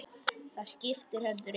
Það skipti heldur engu.